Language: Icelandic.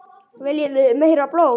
Viljið þið meira blóð?